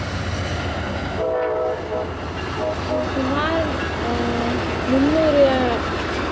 அஹ் சுமார் ஆஹ் முந்நூறு